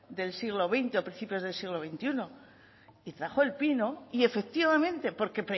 del siglo veinte o principio del siglo veintiuno y trajo el pino y efectivamente porque